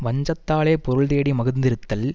வஞ்சத்தாலே பொருள்தேடி மகிழ்ந்திருத்தல்